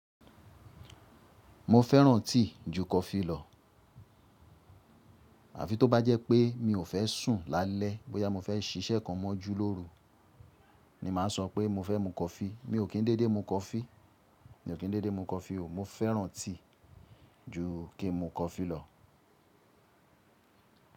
Mo fẹ́ràn tíì ju coffee lọ. Àfi tó bá jẹ́ pé mi ò fẹ́ sùn lálẹ́ bóyá mo fẹ́ ṣíṣẹ́ kan mọ́ jú lóru ni màá sọ pé mo fẹ́ mu coffee. Mi ò kí n dédé mu coffee, mi ò kí n dédé mu coffee o. Mo fẹ́ràn tíì ju kí n mu coffee lọ.